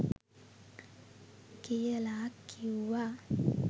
කියලා කිව්වා.